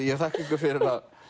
ég þakka ykkur fyrir